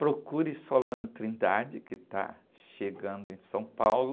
Procure Solano Trindade, que está chegando em São Paulo,